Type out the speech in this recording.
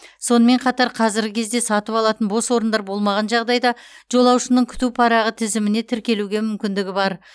сонымен қатар қазіргі кезде сатып алатын бос орындар болмаған жағдайда жолаушының күту парағы тізіміне тіркелуге мүмкіндігі бар